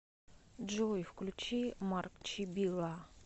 джой включи марк чибилла